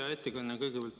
Hea ettekandja!